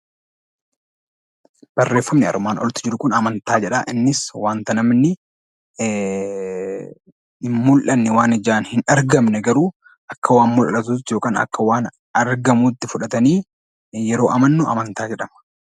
Barreeffamni armaan oliitti jiru kun amantaa jedha. Innis waanta namni hin mul'anne, waan ijaan hin argamne garuu akka waan mul'atuutti yookaan akka waan argamuutti fudhatanii yeroo amannu amantaa jedhama.